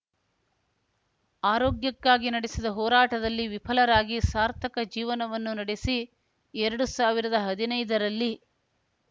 ಆರೋಗ್ಯಕ್ಕಾಗಿ ನಡೆಸಿದ ಹೋರಾಟದಲ್ಲಿ ವಿಫಲರಾಗಿ ಸಾರ್ಥಕ ಜೀವನವನ್ನು ನಡೆಸಿ ಎರಡು ಸಾವಿರದ ಹದಿನೈದ ರಲ್ಲಿ